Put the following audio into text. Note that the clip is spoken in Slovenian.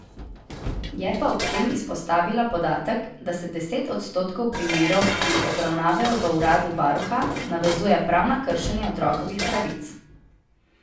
Je pa ob tem izpostavila podatek, da se deset odstotkov primerov, ki jih obravnavajo v uradu varuha, navezuje prav na kršenje otrokovih pravic.